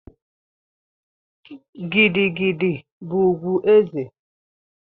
Gidi Gidi bụ ùgwù ezé.